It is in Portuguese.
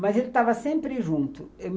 Mas ele estava sempre junto.